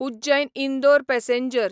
Ujjain Indore passenger